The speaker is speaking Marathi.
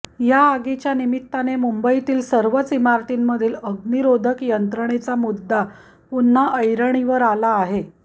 या आगीच्या निमित्ताने मुंबईतील सर्वच इमारतींमधील अग्निरोधक यंत्रणेचा मुद्दा पुन्हा ऐरणीवर आला आहे